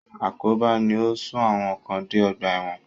Àkóbá ni ó sún àwọn kan dé ọgbà ẹ̀wọ̀n.